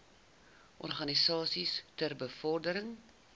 organisasies ter bevordering